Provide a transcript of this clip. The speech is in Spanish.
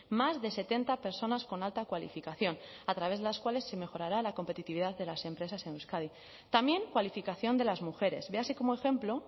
más de setenta personas con alta cualificación a través las cuales se mejorará la competitividad de las empresas en euskadi también cualificación de las mujeres véase como ejemplo